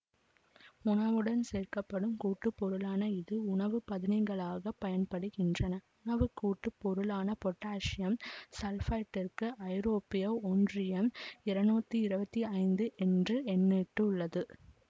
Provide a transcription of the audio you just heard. உணவுடன் சேர்க்க படும் கூட்டுப்பொருளான இது உணவு பதனிகளாகப் பயன்படுகின்றன உணவு கூட்டு பொருளான பொட்டாசியம் சல்பைட்டிற்கு ஐரோப்பிய ஒன்றியம் இருநூத்தி இருவத்தி ஐந்து என்று எண்ணிட்டுள்ளது